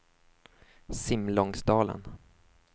Simlångsdalen